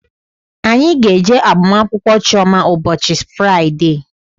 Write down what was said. Anyị ga-eje agbamakwụkwọ Chioma ụbọchị Fraịdee